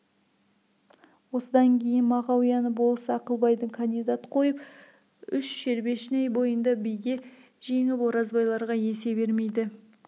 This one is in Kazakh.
осыдан кейін мағауияны болыс ақылбайды кандилат қойып үш шербешнай бойында биге жеңіп оразбайларға есе бермейді